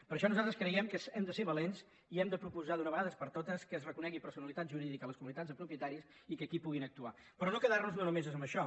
per això nosaltres creiem que hem de ser valents i hem de proposar d’una vegada per totes que es reconegui personalitat jurídica a les comunitats de propietaris i que aquí puguin actuar però no quedar nos només en això